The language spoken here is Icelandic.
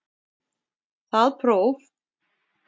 Það próf